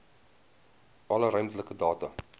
alle ruimtelike data